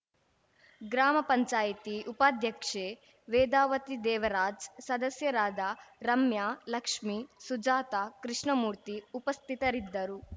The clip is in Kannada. ಗ್ರಾಮ ಪಂಚಾಯತಿ ಉಪಾಧ್ಯಕ್ಷೆ ವೇದಾವತಿ ದೇವರಾಜ್‌ ಸದಸ್ಯರಾದ ರಮ್ಯ ಲಕ್ಷ್ಮೀ ಸುಜಾತ ಕೃಷ್ಣಮೂರ್ತಿ ಉಪಸ್ಥಿತರಿದ್ದರು